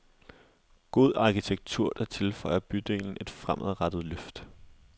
God arkitektur, der tilføjer bydelen et fremadrettet løft.